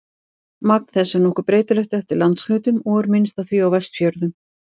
Magn þess er nokkuð breytilegt eftir landshlutum og er minnst af því á Vestfjörðum.